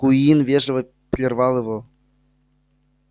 куинн вежливо прервал его